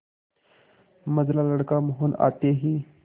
मंझला लड़का मोहन आते ही